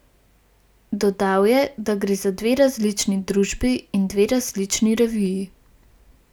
Dodal je, da gre za dve različni družbi in dve različni reviji.